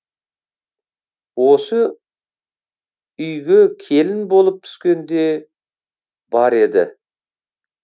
осы үйге келін болып түскенде бар еді